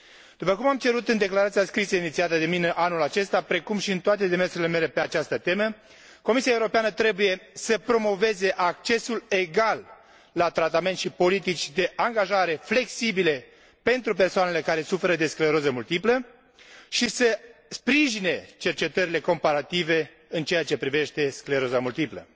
După cum am cerut în declarația scrisă inițiată de mine anul acesta, precum și în toate demersurile mele pe această temă, Comisia Europeană trebuie să promoveze accesul egal la tratament și politici de angajare flexibile pentru persoanele care suferă de scleroză multiplă și să sprijine cercetările comparative în ceea ce privește scleroza multiplă.